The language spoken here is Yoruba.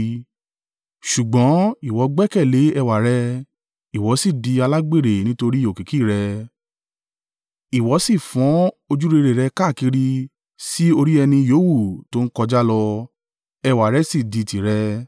“ ‘Ṣùgbọ́n, ìwọ gbẹ́kẹ̀lé ẹwà rẹ, ìwọ sì di alágbèrè nítorí òkìkí rẹ. Ìwọ sì fọ́n ojúrere rẹ káàkiri sí orí ẹni yówù tó ń kọjá lọ, ẹwà rẹ sì di tìrẹ.